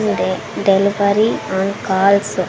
అంటే delivery on calls --